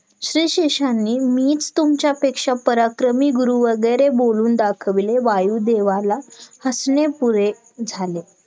श्लीशेषांनी मीच तुमच्यापेक्षा पराक्रमी गुरु वगैरे बोलून दाखवले वायुदेवाला हसणे पुरे झाले